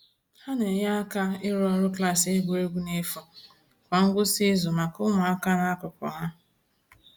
Ha na-enye aka ịrụ ọrụ klaasị egwuregwu n’efu kwa ngwụsị izu maka ụmụaka n’akụkụ ha.